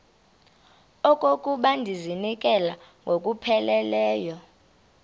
okokuba ndizinikele ngokupheleleyo